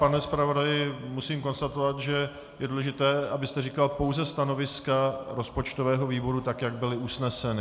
Pane zpravodaji, musím konstatovat, že je důležité, abyste říkal pouze stanoviska rozpočtového výboru, tak jak byla usnesena.